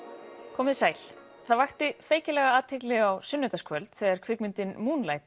komið þið sæl það vakti feikilega athygli á sunnudagskvöld þegar kvikmyndin